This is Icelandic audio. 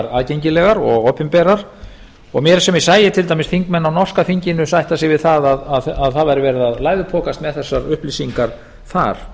aðgengilegar og opinberar og mér er sem ég sæi til dæmis þingmennina á norska þinginu sætta sig við að það væri verið að læðupokast með þessar upplýsingar þar